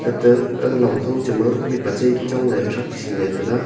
ate aga longkhaw chema mihpa che chongley thragsingley taiga.